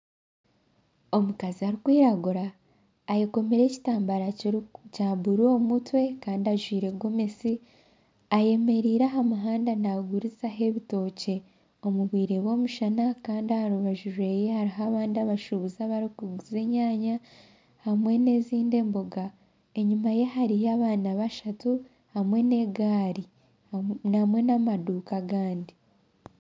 Omukazi arikwiragura ayekomire ekitambaara kya buru omu mutwe Kandi ajwaire gomesi ayemereire aha muhanda nagurizaho ebitookye omu bwire bwomushana Kandi aharu baju rwehariho abandi abashubuzi abarikuguza enyanya hamwe nezindi emboga enyuma ye hariyo abaana bashatu hamwe negaari hamwe n'amaduuka agandi